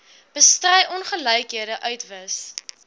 bestry ongelykhede uitwis